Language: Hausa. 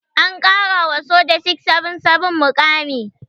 An ƙara wa soja 677 muƙami.